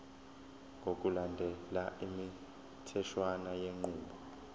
ngokulandela imitheshwana yenqubo